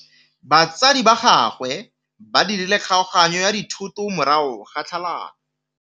Batsadi ba gagwe ba dirile kgaoganyô ya dithoto morago ga tlhalanô.